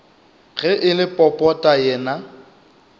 ge e le popota yena